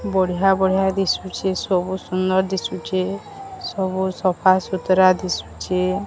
ବଢିଆ ବଢିଆ ଦିଶୁଚି ସବୁ ସୁନ୍ଦର୍ ଦିଶୁଚେ ସବୁ ସଫାସୁତରା ଦିଶୁଚେ ।